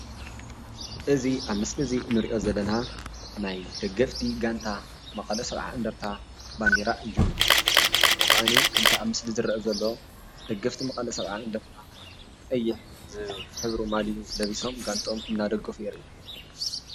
እዚ ኣብ ምስሊ እዚ ንሪኦ ዘለና ናይ ደገፍቲ ጋንታ መቐለ ሰብዓ እንድርታ ባንዴራ እዩ፡፡ እሞ ከዓኒ ከምቲ ኣብ ምስሊ ዝርአ ዘሎ ደገፍቲ መቐለ ሰብዓ እንድርታ ቀይሕ ዝሕብሩ ማሊኡ ለቢሶም ጋንትኦም እናደገፉ የርኢ፡፡